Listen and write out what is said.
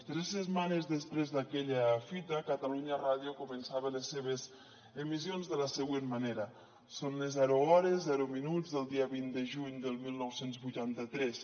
tres setmanes després d’aquella fita catalunya ràdio començava les seves emissions de la següent manera són les zero hores zero minuts del dia vint de juny del dinou vuitanta tres